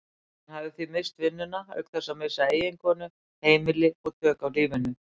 Hann hafði því misst vinnuna auk þess að missa eiginkonu, heimili og tök á lífinu.